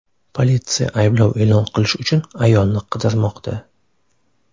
Politsiya ayblov e’lon qilish uchun ayolni qidirmoqda.